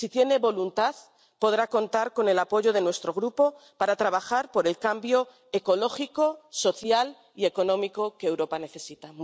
Si tiene voluntad, podrá contar con el apoyo de nuestro Grupo para trabajar por el cambio ecológico, social y económico que Europa necesita.